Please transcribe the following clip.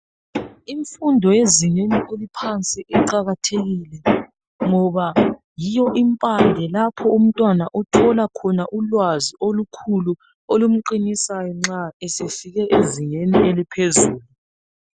Imfundo yezingeni eliphansi iqakathekile ngoba yiyo impande lapho umntwana othola khona ulwazi olukhulu olumqinisayo nxa esefike ezingeni eliphezulu.